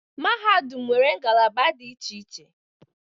Mahadum nwere ngalaba dị iche iche